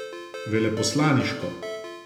Veleposlaniško.